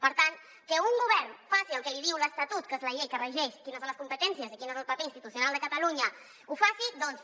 per tant que un govern faci el que li diu l’estatut que és la llei que regeix quines són les competències i quin és el paper institucional de catalunya doncs